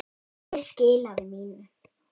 Ég skilaði mínu.